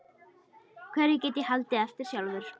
Hverju get ég haldið eftir sjálfur?